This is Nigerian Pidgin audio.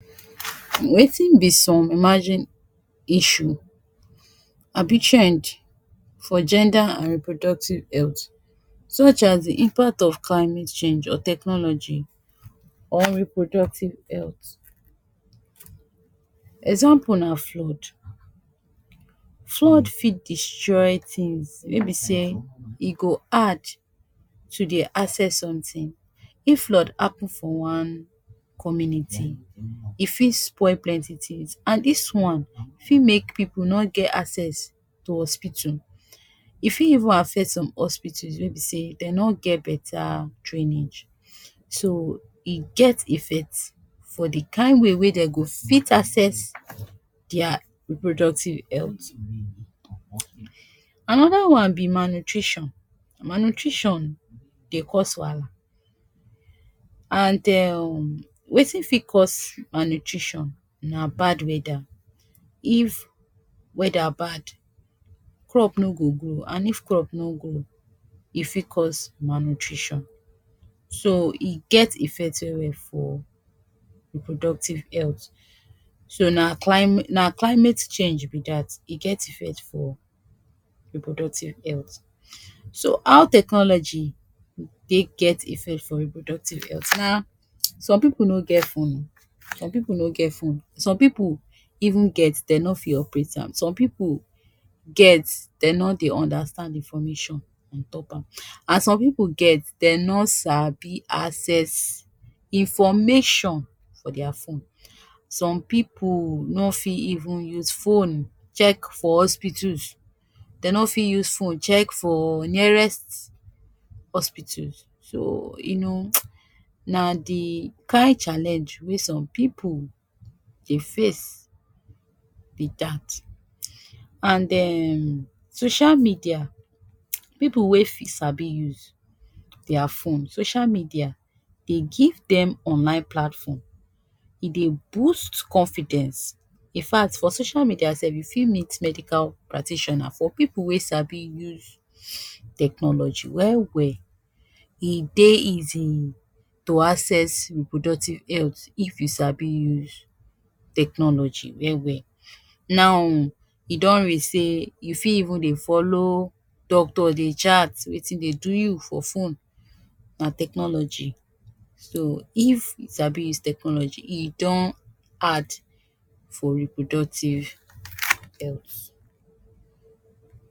Wetin be some emerging issue abi trend for gender and reproductive health, such as de impact of climate change or technology on reproductive health. Example na flood. Flood fit destroy things wey be sey e go hard to dey access something. If flood happen for one community, e fit spoil plenty things, and dis one fit make pipu no get access to hospitu. E fit even affect some hospitus wey be sey dem no get beta drainage, so e get effect for de kain way wey dey go fit access de reproductive health. Another one be malnutrition. Malnutrition dey cause wahala, and um wetin fit cause malnutrition na bad weather. If weather bad, crop no go grow, and if crop no grow, e fit cause malnutrition. So e get effect well well for reproductive health. So na clima na climate change be dat. E get effect for reproductive health. So how technology take get effect for reproductive health na some pipu no get phone some pipu no get phone. Some pipu even get dey no fit operate am. Some pipu get, dey no dey understand information on top am. And some pipu get dey no sabi access information for dia phone. Some pipu no fit even use phone check for hospitus, dey no fit use phone check for nearest hospitus. So you know [hiss] na de kain challenge wey some pipu dey face be dat. And um social media pipu wey sabi use dia phone, social media dey give dem online platform. E dey boost confidence. In fact, for social media sef you fit meet medical practitioner, for pipu wey sabi use technology well well. E dey easy to access reproductive health if you sabi use technology well well. Now e don reach sey you fit even dey follow doctor dey chat wetin dey do you for phone. Na technology. So if you sabi use technology, e don hard for reproductive health.